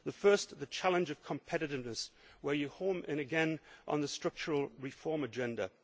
The first is the challenge of competitiveness, where again you home in on the structural reform agenda.